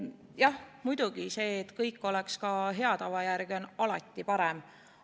Jah, muidugi, see, et kõik oleks ka hea tava järgi, on alati parem.